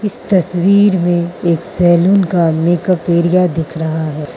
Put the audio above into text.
इस तस्वीर में एक सैलून का मेकअप एरिया दिख रहा है।